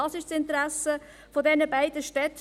Dies ist das Interesse dieser beiden Städte.